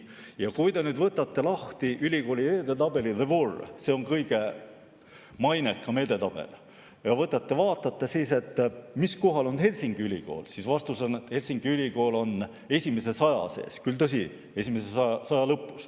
Kui te võtate lahti ülikoolide edetabeli CWUR, mis on kõige mainekam edetabel, ja vaatate, mis kohal on Helsingi Ülikool, siis vastus on, et Helsingi Ülikool on esimese 100 sees, tõsi küll, esimese 100 lõpus.